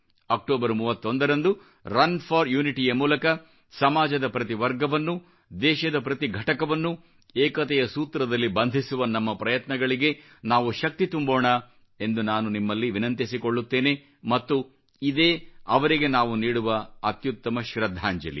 October 31 ರಂದು run for Unityಯ ಮೂಲಕ ಸಮಾಜದ ಪ್ರತಿ ವರ್ಗವನ್ನೂ ದೇಶದ ಪ್ರತಿ ಘಟಕವನ್ನೂ ಏಕತೆಯ ಸೂತ್ರದಲ್ಲಿ ಬಂಧಿಸುವ ನಮ್ಮ ಪ್ರಯತ್ನಗಳಿಗೆ ನಾವು ಶಕ್ತಿ ತುಂಬೋಣ ಎಂದು ನಾನು ನಿಮ್ಮಲ್ಲಿ ವಿನಂತಿಸಿಕೊಳ್ಳುತ್ತೇನೆ ಮತ್ತು ಇದೇ ಅವರಿಗೆ ನಾವು ನೀಡುವ ಅತ್ಯುತ್ತಮ ಶ್ರದ್ಧಾಂಜಲಿ